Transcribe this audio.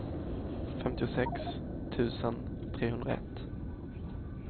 femtiosex tusen trehundraett